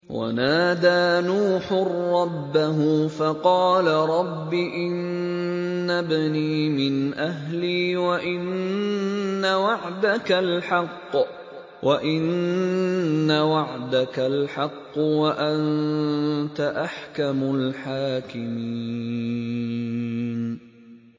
وَنَادَىٰ نُوحٌ رَّبَّهُ فَقَالَ رَبِّ إِنَّ ابْنِي مِنْ أَهْلِي وَإِنَّ وَعْدَكَ الْحَقُّ وَأَنتَ أَحْكَمُ الْحَاكِمِينَ